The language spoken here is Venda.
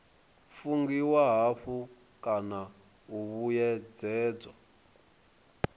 fungiwa hafhu kana u vhuyedzedzwa